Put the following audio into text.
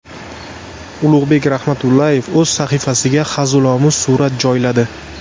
Ulug‘bek Rahmatullayev o‘z sahifasiga hazilomuz surat joyladi.